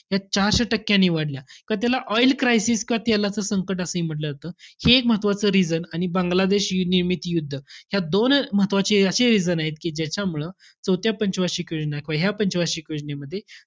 या चारशे टक्क्यांनी वाढल्या. त त्याला oil crisis किंवा तेलाचं संकट असंही म्हंटलं जातं. हे एक महत्वाचं reason आणि बांगलादेश युनियमित युद्ध, ह्या दोन महत्वाचे अशे reason आहेत. कि ज्याच्यामुळं चौथ्या पंच वार्षिक योजना, किंवा ह्या पंच वार्षिक योजनेमध्ये.